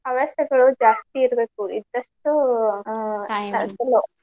ಅವಶ್ಯಕತೆಗೊಳ್ ಜಾಸ್ತಿ ಇರ್ಬೇಕ್ ಇದ್ದಷ್ಟ